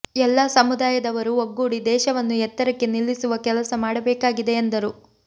ಎಲ್ಲ ಸಮುದಾಯದವರು ಒಗ್ಗೂಡಿ ದೇಶವನ್ನು ಎತ್ತರಕ್ಕೆ ನಿಲ್ಲಿಸುವ ಕೆಲಸ ಮಾಡಬೇಕಾಗಿದೆ ಎಂದರು